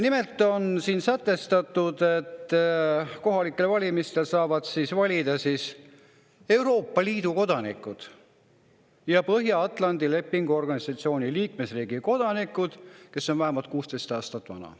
Nimelt on siin sätestatud, et kohalikel valimistel saavad valida Euroopa Liidu kodanikud ja Põhja-Atlandi Lepingu Organisatsiooni liikmesriigi kodanikud, kes on vähemalt 16 aastat vanad.